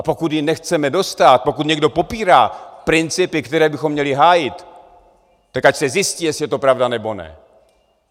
A pokud jí nechceme dostát, pokud někdo popírá principy, které bychom měli hájit, tak ať se zjistí, jestli je to pravda, nebo ne.